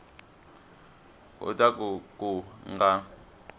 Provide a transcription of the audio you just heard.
u ta ku ku nga